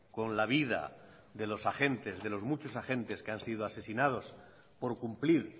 con la vida de los agentes de los muchos agentes que han sido asesinados por cumplir